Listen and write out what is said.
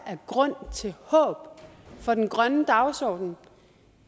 af grund til håb for den grønne dagsorden